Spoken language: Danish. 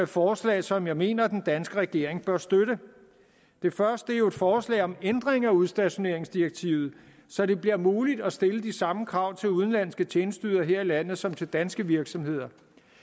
forslag som jeg mener den danske regering bør støtte det første er jo et forslag om ændring af udstationeringsdirektivet så det bliver muligt at stille de samme krav til udenlandske tjenesteydere her i landet som til danske virksomheder